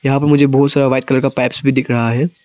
यहां पे मुझे बहुत सारा व्हाइट कलर का पाइप्स भी दिख रहा है।